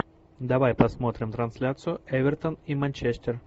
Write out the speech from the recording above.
давай посмотрим трансляцию эвертон и манчестер